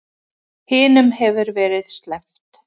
Hinum hefur verið sleppt